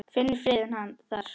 Finnur friðinn þar.